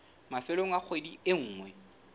mafelong a kgwedi e nngwe